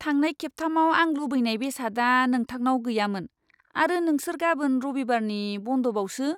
थांनाय खेबथामाव आं लुबैनाय बेसादआ नोंथांनाव गैयामोन आरो नोंसोर गाबोन रबिबारनि बन्द'बावसो!